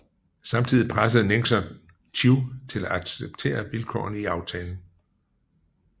Samtidig pressede Nixon Thieu til at acceptere vilkårene i aftalen